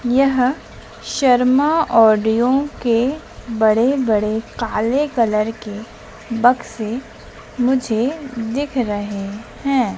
यह शर्मा ऑडियो के बड़े-बड़े काले कलर के बक्से मुझे दिख रहे हैं।